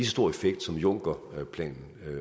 stor effekt som junckerplanen